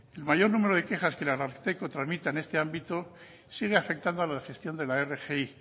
el mayor número de quejas que el ararteko transmita en este ámbito sigue afectando a la gestión de la rgi